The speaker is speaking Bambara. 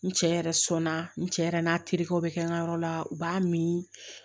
N cɛ yɛrɛ sɔnna n cɛ yɛrɛ n'a terikɛw bɛ kɛ n ka yɔrɔ la u b'a min